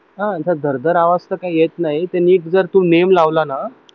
हा असा झरझर आवाज तर येत नाही नीट जर तू नेम लावला ना